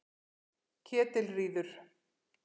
Ketilríður